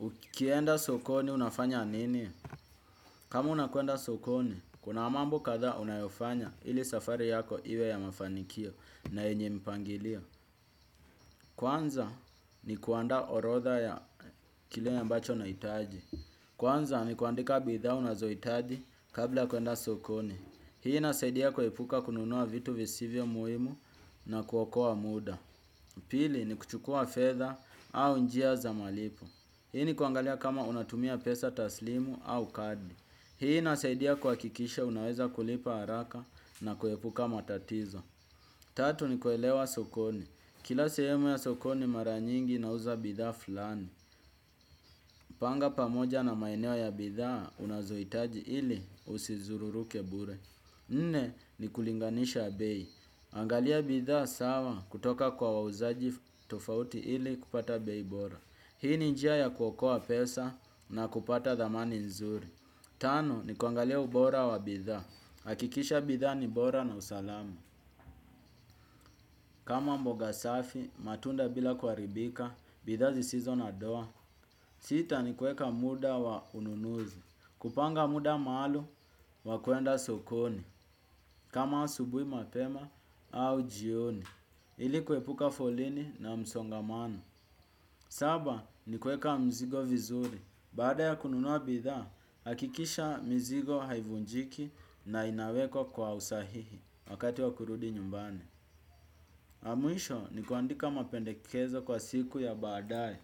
Ukienda sokoni unafanya anini? Kama unakuenda sokoni, kuna mambo kadha unayofanya ili safari yako iwe ya mafanikio na yenye mipangilio. Kwanza ni kuandaa orodha ya kile ambacho na itaji. Kwanza ni kuandika bidhaa unazo itaji kabla kuenda sokoni. Hii inasaidia kuepuka kununua vitu visivyo muhimu na kuokowa muda. Pili ni kuchukua fedha au njia za malipo. Hii ni kuangalia kama unatumia pesa taslimu au kadi. Hii inasaidia kuwakikisha unaweza kulipa haraka na kuepuka matatizo. Tatu ni kuelewa sokoni. Kila sehemu ya sokoni mara nyingi inauza bidhaa fulani. Panga pamoja na mainewa ya bidhaa unazoitaji ili usizururu kebure. Nne ni kulinganisha bei. Angalia bidhaa sawa kutoka kwa wauzaji tofauti ili kupata bei bora. Hii ni njia ya kuokowa pesa na kupata dhamani nzuri. Tano ni kuangalia ubora wa bidha. Hakikisha bidha ni bora na usalama. Kama mboga safi, matunda bila kuharibika, bidhaa zisizo na doa. Sita ni kuweka muda wa ununuzu. Kupanga muda maalum wa kuenda sokoni. Kama asubui mapema au jioni. Ili kuepuka foleni na msongamano. Saba ni kueka mzigo vizuri. Baada ya kununua bidhaa, hakikisha mzigo haivunjiki na inawekwa kwa usahihi wakati wa kurudi nyumbani. Mwisho ni kuandika mapendekezo kwa siku ya baadae.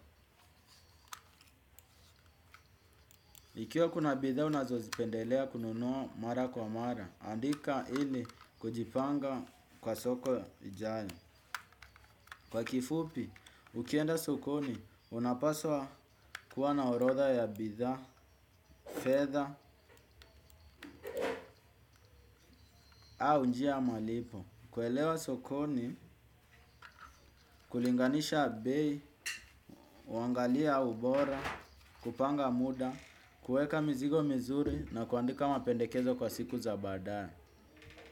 Ikiwa kuna bidhaa unazozipendelea kununua mara kwa mara, andika ili kujipanga kwa soko ijayo. Kwa kifupi, ukienda sokoni, unapaswa kuwa na orodha ya bidha, fedha au njia ya malipo. Kuelewa sokoni, kulinganisha bei, uangalia ubora, kupanga muda, kuweka mizigo mizuri na kuandika mapendekezo kwa siku za baadae.